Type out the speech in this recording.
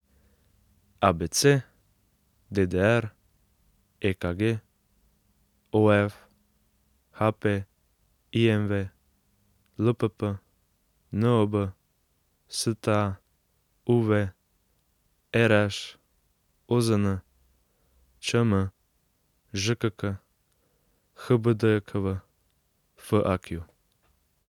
ABC, DDR, EKG, OF, HP, IMV, LPP, NOB, STA, UV, RŠ, OZN, ČM, ŽKK, HBDJKV, FAQ.